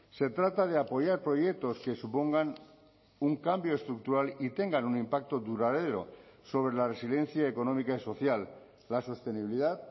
se trata de apoyar proyectos que supongan un cambio estructural y tengan un impacto duradero sobre la resiliencia económica y social la sostenibilidad